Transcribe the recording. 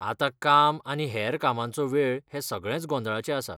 आतां काम आनी हेर कामांचो वेळ हे सगळेंच गोंधळाचें आसा.